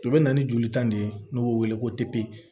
O bɛ na ni joli tan de ye n'o bɛ wele ko